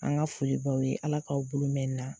An ka foli b'aw ye Ala k'aw bolo mɛn nin na.